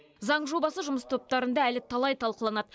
заң жобасы жұмыс топтарында әлі талай талқыланады